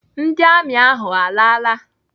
Ndị amị ahụ alaala?